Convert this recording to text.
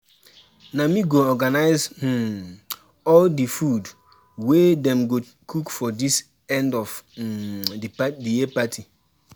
na me go organize um all the food wey Dem go cook for this end of um the year party